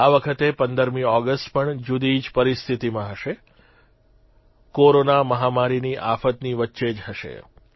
આ વખતે 15મી ઓગષ્ટ પણ જુદી જ પરિસ્થિતીમાં હશે કોરોના મહામારીની આફતની વચ્ચે જ હશે